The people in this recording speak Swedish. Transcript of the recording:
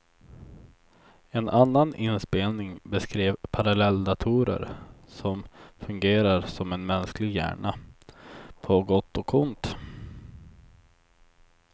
En annan inspelning beskrev parallelldatorer som fungerar som en mänsklig hjärna, på gott och ont.